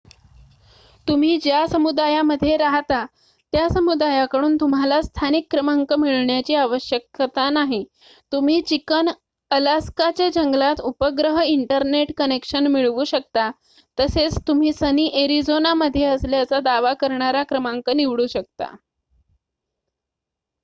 तुम्ही ज्या समुदायामध्ये राहता त्या समुदायाकडून तुम्हाला स्थानिक क्रमांक मिळण्याची आवश्यकता नाही तुम्ही चिकन अलास्काच्या जंगलात उपग्रह इंटरनेट कनेक्शन मिळवू शकता तसेच तुम्ही सनी एरिझोनामध्ये असल्याचा दावा करणारा क्रमांक निवडू शकता